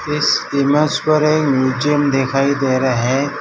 इस इमेज पर एक म्यूजियम दिखाई दे रहा है।